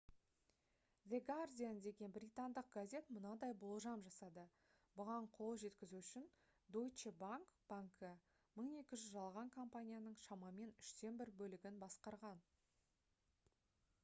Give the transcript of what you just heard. the guardian деген британдық газет мынадай болжам жасады бұған қол жеткізу үшін deutsche bank банкі 1200 жалған компанияның шамамен үштен бір бөлігін басқарған